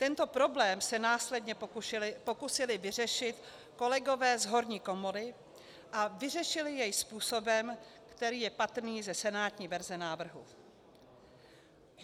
Tento problém se následně pokusili vyřešit kolegové z horní komory a vyřešili jej způsobem, který je patrný ze senátní verze návrhu.